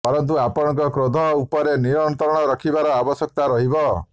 ପରନ୍ତୁ ଆପଣଙ୍କ କ୍ରୋଧ ଉପରେ ନିୟନ୍ତ୍ରଣ ରଖିବାର ଆବଶ୍ୟକତା ରହିବ